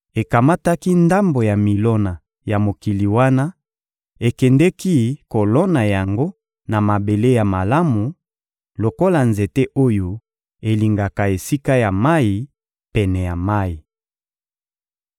Ekamataki ndambo ya milona ya mokili wana, ekendeki kolona yango na mabele ya malamu, lokola nzete oyo elingaka esika ya mayi, pene ya mayi.